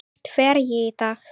Hvert fer ég í dag?